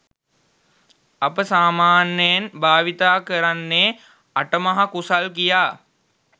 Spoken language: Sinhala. අප සාමාන්‍යයෙන් භාවිතා කරන්නේ අටමහ කුසල් කියා.